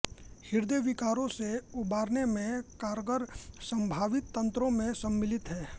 हृदय विकारों से उबारने में कारगर संभावित तंत्रों में सम्मिलित हैं